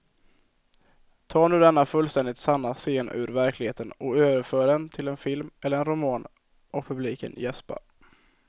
Ta nu denna fullständigt sanna scen ur verkligheten och överför den till en film eller en roman och publiken jäspar.